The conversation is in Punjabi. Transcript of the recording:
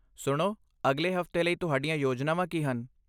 ਸੁਣੋ, ਅਗਲੇ ਹਫ਼ਤੇ ਲਈ ਤੁਹਾਡੀਆਂ ਯੋਜਨਾਵਾਂ ਕੀ ਹਨ?